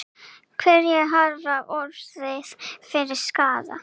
Hverjir hafa orðið fyrir skaða?